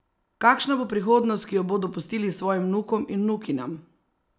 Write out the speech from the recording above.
Kakšna bo prihodnost, ki jo bodo pustili svojim vnukom in vnukinjam?